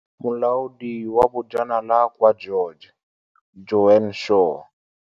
Molaodi wa Bojanala kwa George, Joan Shaw.